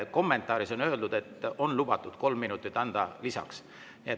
Kommentaaris on öeldud, et on lubatud 3 minutit anda lisaks.